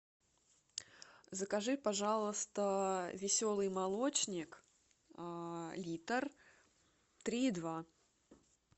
закажи пожалуйста веселый молочник литр три и два